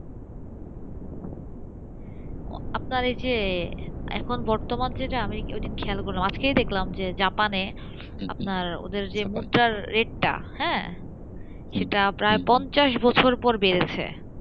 আপনার এই যে এখন বর্তমানে ঐদিন খেয়াল করলাম আজকে দেখলাম যে জাপানে ওদের যে মুদ্রার রেট সেটা প্রায় পঞ্চাশ বছর পর বেড়েছে,